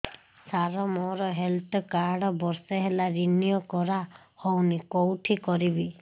ସାର ମୋର health card ବର୍ଷେ ହେଲା ରିନିଓ କରା ହଉନି କଉଠି କରିବି